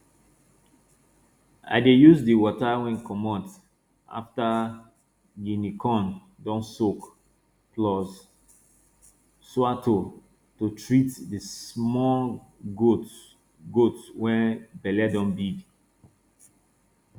i dey use di water wey comot afta guinea corn don soak plus sourto to treat di small goat goat wey belle don big